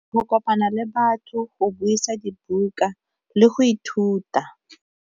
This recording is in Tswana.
Go kopana le batho, go buisa dibuka, le go ithuta.